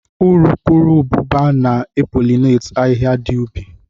Urukurubụba na e polineti ahịhịa dị ubi